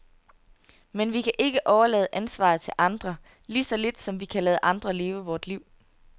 Men vi kan ikke overlade ansvaret til andre, lige så lidt som vi kan lade andre leve vort liv.